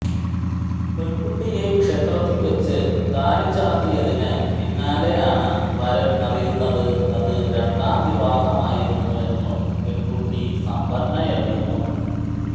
പെൺകുട്ടിയെ ക്ഷേത്രത്തിൽ വച്ച് താലിചാർത്തിയതിന് പിന്നാലെയാണ് വരൻ അറിയുന്നത് അത് രണ്ടാം വിവാഹമായിരുന്നുവെന്നും പെൺകുട്ടി സമ്പന്നയല്ലെന്നും